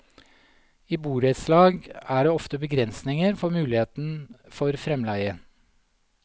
I borettslag er det ofte begrensninger for muligheten for fremleie.